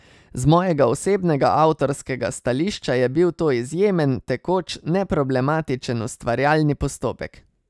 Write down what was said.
Z mojega osebnega avtorskega stališča je bil to izjemen, tekoč, neproblematičen ustvarjalni postopek.